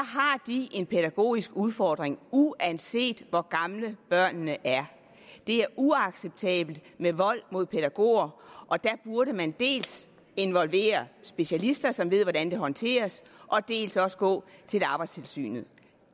de en pædagogisk udfordring uanset hvor gamle børnene er det er uacceptabelt med vold mod pædagoger og der burde man dels involvere specialister som ved hvordan det håndteres dels også gå til arbejdstilsynet